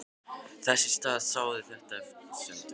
Þess í stað sáði þetta efasemdum.